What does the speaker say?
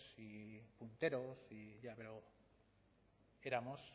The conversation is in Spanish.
y punteros ya pero éramos